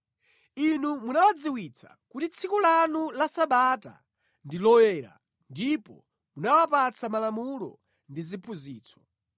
Inu munawadziwitsa kuti tsiku lanu la Sabata ndi loyera ndipo munawapatsa malamulo ndi ziphunzitso.